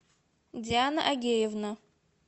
диана агеевна